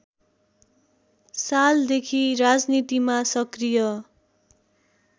सालदेखि राजनीतिमा सक्रिय